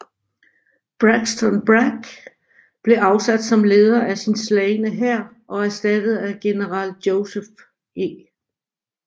Braxton Bragg blev afsat som leder af sin slagne hær og erstattet af general Joseph E